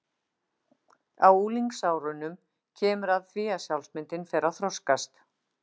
Á unglingsárunum kemur að því að sjálfsmyndin fer að þroskast.